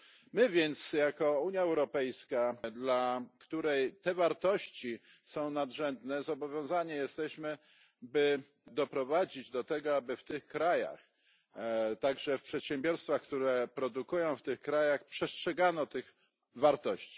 My więc, jako Unia Europejska, dla której te wartości są nadrzędne, zobowiązani jesteśmy, by doprowadzić do tego, aby w tych krajach, a także w przedsiębiorstwach, które produkują w tych krajach, przestrzegano tych wartości.